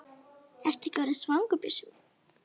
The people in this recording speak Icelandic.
Ertu ekki orðinn svangur, Bjössi minn?